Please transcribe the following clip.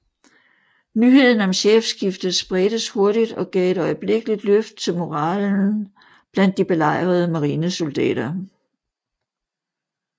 Nyheden om chefskiftet spredtes hurtigt og gav et øjeblikkeligt løft til moralen blandt de belejrede marinesoldater